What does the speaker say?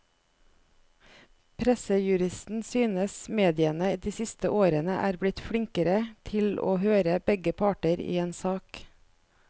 Pressejuristen synes mediene de siste årene er blitt flinkere til å høre begge parter i en sak.